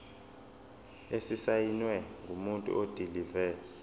esisayinwe ngumuntu odilive